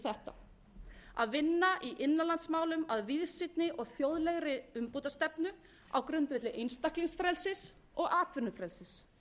þetta að vinna að innanlandsmálum af víðsýnni og þjóðlegri umbótastefnu á grundvelli einstaklingsfrelsis og atvinnufrelsis